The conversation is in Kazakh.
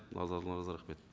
назарларыңызға рахмет